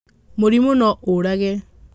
Mũrimũ no ũrage.